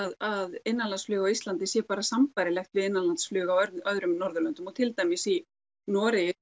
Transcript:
að innanlandsflug á Íslandi sé bara sambærilegt við innanlandsflug á öðrum Norðurlöndum og til dæmis í Noregi